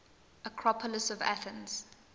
acropolis of athens